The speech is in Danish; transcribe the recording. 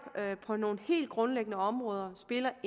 på nogle helt grundlæggende områder spiller